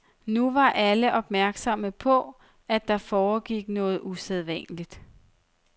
Nu var alle opmærksomme på, at der foregik noget usædvanligt.